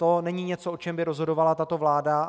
To není něco, o čem by rozhodovala tato vláda.